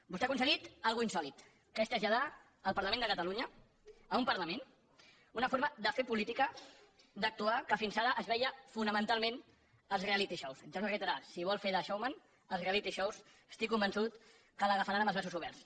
vostè ha aconseguit una cosa insòlita que és traslladar al parlament de catalunya a un parlament una forma de fer política d’actuar que fins ara es veia fonamentalment als reality showsrar si vol fer de showman vençut que l’agafaran amb els braços oberts